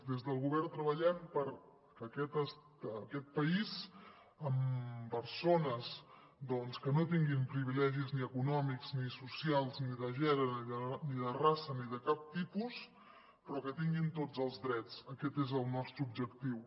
des del govern treballem perquè aquest país amb persones doncs que no tinguin privilegis ni econòmics ni socials ni de gènere ni de raça ni de cap tipus però que tinguin tots els drets aquest és el nostre objectiu